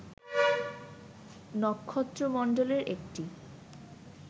নক্ষত্রমন্ডলের একটি